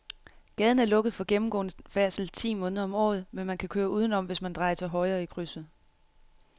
Gaden er lukket for gennemgående færdsel ti måneder om året, men man kan køre udenom, hvis man drejer til højre i krydset.